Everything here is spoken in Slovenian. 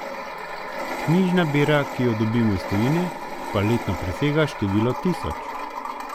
Knjižna bera, ki jo dobimo iz tujine, pa letno presega število tisoč.